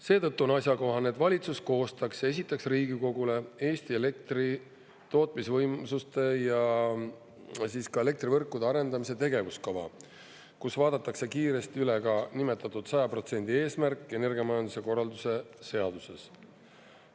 Seetõttu on asjakohane, et valitsus koostaks ja esitaks Riigikogule Eesti elektri tootmisvõimsuste ja ka elektrivõrkude arendamise tegevuskava, kus vaadatakse kiiresti üle ka nimetatud 100% eesmärk energiamajanduse korralduse seaduses.